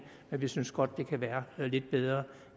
men vi synes godt det kan være lidt bedre